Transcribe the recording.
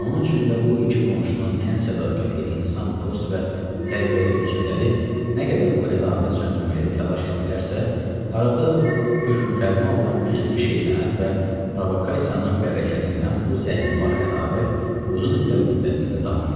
Onun üçün də bu iki qonşunun ən sədaqətli insan, dost və tərbiyəli ünsürləri nə qədər bu ədavət söndürməkdə təlaş etdilərsə, arada hökmfərma olan gizli şeytanət və provokasiyanın bərəkətindən bu zəhirmar ədavət uzun illər müddətində davam etdi.